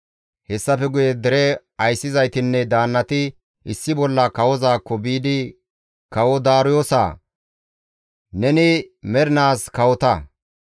Hessafe guye dere ayssizaytinne daannati issi bolla kawozaakko biidi, «Kawo Daariyoosa! Neni mernaas kawota!